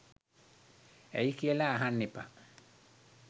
ඇයි කියලා අහන්න එපා